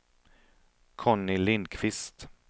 Conny Lindquist